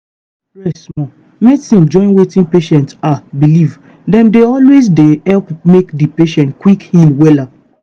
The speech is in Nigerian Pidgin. rest small.medicine join wetin patient ahhh believe dem dey always dey help make di patient quick heal wella.